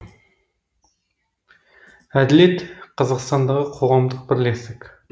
әділет қазақстандағы қоғамдық бірлестік